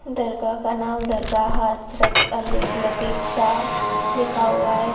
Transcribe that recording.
दरगाह का नाम दरगाह हज़रात अली लतीफ़ शाह लिखा हुआ है।